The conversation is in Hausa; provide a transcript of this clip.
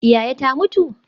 Yaya ta mutu?